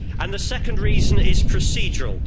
The second reason is procedural.